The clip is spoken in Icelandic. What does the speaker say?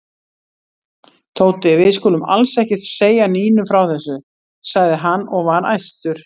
Tóti, við skulum alls ekki segja Nínu frá þessu sagði hann og var æstur.